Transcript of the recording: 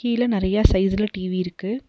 கீழ நெறையா சைஸ்ஸுல டி_வி இருக்கு.